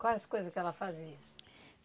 Quais as coisas que ela fazia?